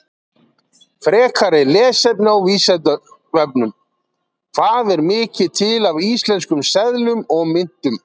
Frekara lesefni á Vísindavefnum: Hvað er mikið til af íslenskum seðlum og myntum?